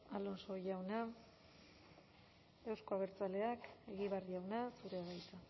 alonso jauna euzko abertzaleak egibar jauna zurea da hitza